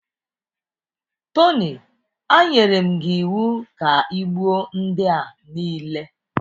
Tony, anyere m gị iwu ka i gbuo ndị a niile